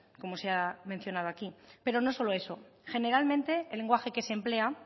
como se ha mencionado aquí pero no solo eso generalmente el lenguaje que se emplea